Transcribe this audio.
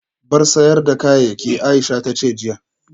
Bar sayar da kayayyaki Aisha tace jiya